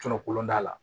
Cɔ kolon t'a la